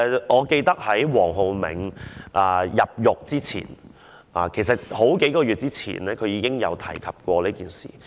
我記得在黃浩銘入獄之前數個月，他已提及這件事。